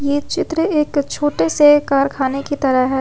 ये चित्र एक छोटे से कारखाने की तरह है।